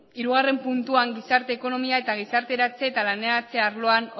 hirugarrena puntuan gizarte ekonomia eta gizarteratze eta laneratze arloan